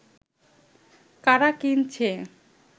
কারা কিনছে